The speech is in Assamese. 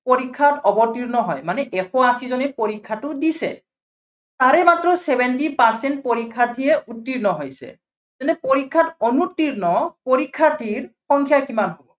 পৰীক্ষাত অৱতীৰ্ণ হয়, মানে এশ আশীজনে পৰীক্ষাটো দিছে। তাৰে মাত্ৰ seventy percent পৰীক্ষাথীহে উৰ্ত্তীৰ্ণ হৈছে। তেন্তে পৰীক্ষাত অনুতীৰ্ণ পৰীক্ষাৰ্থীৰ সংখ্যা কিমান?